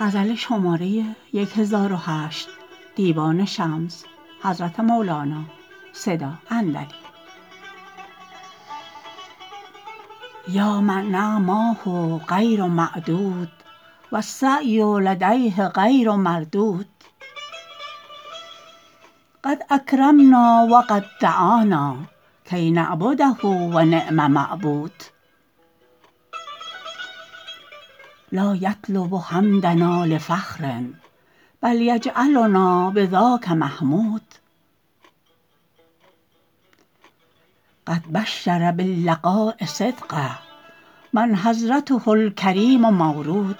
یا من نعماه غیر معدود و السعی لدیه غیر مردود قد اکرمنا و قد دعانا کی نعبده و نعم معبود لا یطلب حمدنا لفخر بل یجعلنا بذاک محمود قد بشر باللقاء صدقه من حضرته الکریم مورود